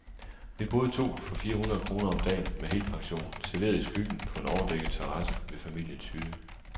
Vi boede to for fire hundrede kroner om dagen, med helpension, serveret i skyggen på en overdækket terrasse ved familiens hytte.